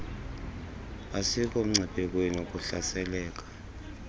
asikho mngciphekweni wakuhlaseleka